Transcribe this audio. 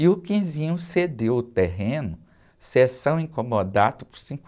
E o cedeu o terreno, seção in comodato, por...